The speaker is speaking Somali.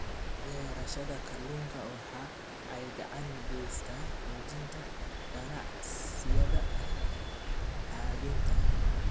Beerashada kalluunka waxa ay gacan ka geysataa xoojinta ganacsiyada habaynta.